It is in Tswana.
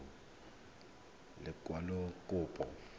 o tla romela lekwalokopo la